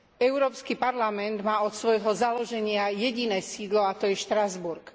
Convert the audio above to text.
Európsky parlament má od svojho založenia jediné sídlo, a to je Štrasburg.